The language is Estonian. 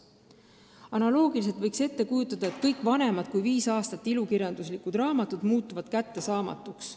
Analoogiliselt võiks ette kujutada, et kõik ilukirjanduslikud raamatud, mis on vanemad kui viis aastat, muutuvad kättesaamatuks.